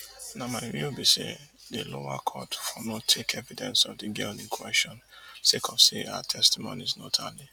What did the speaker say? na my view be say di lower court for no take evidence of di girl in question sake of say her testimonies no tally